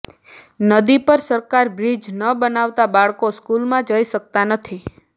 નદી પર સરકાર બ્રિજ ન બનાવતા બાળકો સ્કૂલમાં જઈ શકતા નથી